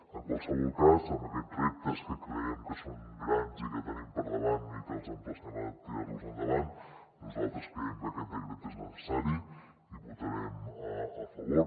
en qualsevol cas amb aquests reptes que creiem que són grans i que tenim per davant i que els emplacem a tirar los endavant nosaltres creiem que aquest decret és necessari i hi votarem a favor